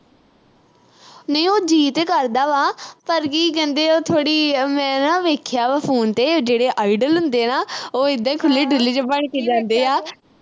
ਨਹੀਂ ਉਹ ਜੀਅ ਤੇ ਕਰਦਾ ਵਾ। ਪਰ ਕੀ ਕਹਿੰਦੇ ਉਹ ਥੋੜ੍ਹੀ ਮੈਂ ਨਾ, ਵੇਖਿਆ ਵਾ phone ਤੇ, ਜਿਹੜੇ idol ਹੁੰਦੇ ਨਾ, ਉਹ ਏਦਾਂ ਈ ਖੁੱਲ੍ਹੇ-ਡੁੱਲ੍ਹੇ ਜੇ ਬਣ ਕੇ ਜਾਂਦੇ ਆ।